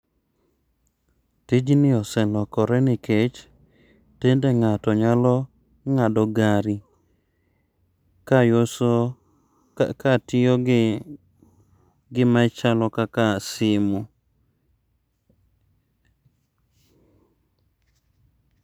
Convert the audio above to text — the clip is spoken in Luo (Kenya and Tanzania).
Tijni oselokore nikech tinde ng'ato nyalo ng'ado gari ka katiyo gi gima chalo kaka simu